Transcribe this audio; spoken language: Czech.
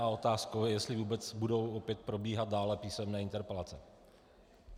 A otázkou je, jestli vůbec budou opět probíhat dále písemné interpelace.